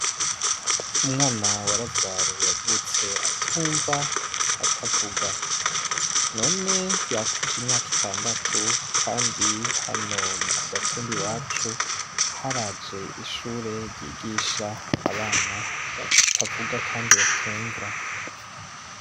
Umwana wa Razaro yavutse atumva atavuga none yakwije imyaka itandatu kandi hano kugatumba iwacu haraje ishure ryigisha abana batavuga kandi batumva.